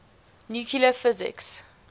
nuclear physics